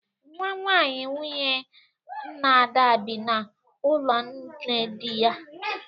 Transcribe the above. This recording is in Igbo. Nwanwaanyị nwunye nna Ada bi n'ụlọ nne dị ya.